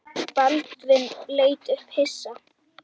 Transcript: Baldvin leit upp hissa.